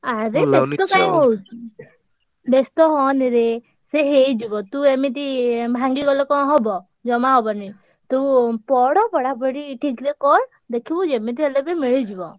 ଆରେ ବେସ୍ତ କାଇଁ ହଉଚୁ ବେସ୍ତ ହଅନିରେ, ସେ ହେଇଯିବ ତୁ ଏମିତି ଭାଙ୍ଗିଗଲେ କଣ ହବ? ଜମା ହବନି ତୁ ପଢ ପଢାପଢି ଠିକ୍ ରେ କର, ଦେଖିବୁ ଯେମିତି ହେଲେ ବି ମିଳିଯିବ।